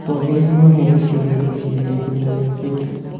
Twagĩrĩirwo hĩndĩ ciothe gwĩciria ihinda rĩũkĩte